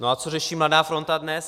No a co řeší Mladá fronta DNES?